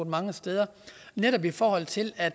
mange steder netop i forhold til at